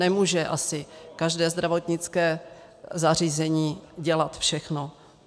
Nemůže asi každé zdravotnické zařízení dělat všechno.